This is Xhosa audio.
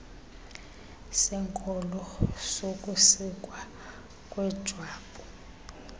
senkolo sokusikwa kwejwabu